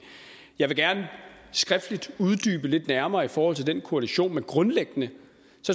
jeg vil gerne skriftligt uddybe lidt nærmere i forhold til den koalition men grundlæggende